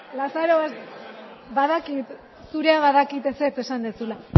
lazarobaster zurea badakit ezetz esan duzula